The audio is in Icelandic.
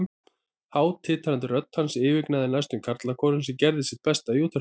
Há, titrandi rödd hans yfirgnæfði næstum karlakórinn, sem gerði sitt besta í útvarpinu.